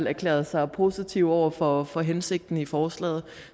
erklæret sig positive over for for hensigten med forslaget